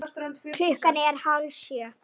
Klukkan er hálf sjö.